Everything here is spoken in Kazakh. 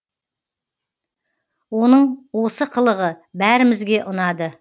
оның осы қылығы бәрімізге ұнады